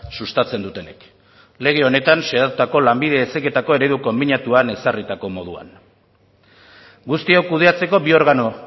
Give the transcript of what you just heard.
sustatzen dutenek lege honetan xedatutako lanbide heziketako eredu konbinatuan ezarritako moduan guztiok kudeatzeko bi organo